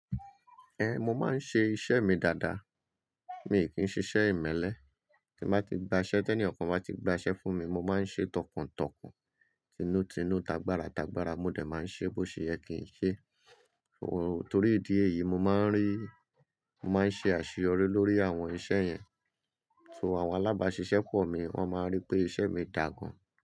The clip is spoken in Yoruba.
Ẹn, mo máa ń ṣe iṣẹ́ mi dáadáa, mi kí ń ṣiṣẹ́ ìmẹ́lẹ́. Tí n bá ti gbaṣẹ́, tí ẹni kankan o bá ti gbaṣẹ́ fún mi, mo máa ń ṣe tọkàntọkàn, tinútinú, tagbára tagbára, mo dẹ̀ máa ń ṣe bó ṣe yẹ kì ń ṣe. O, torí ìdí èyí, mo máa ń rí, mo máa ń ṣe àṣeyọrí lórí àwọn iṣẹ́ yẹn. So àwọn alábáṣiṣẹ́ pọ̀ mi, wọ́n máa rí pé iṣẹ́ mi dà gan.